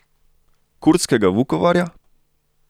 Kurdskega Vukovarja?